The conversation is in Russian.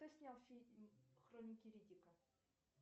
кто снял фильм хроники риддика